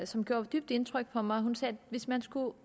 som gjorde dybt indtryk på mig hun sagde at hvis man skulle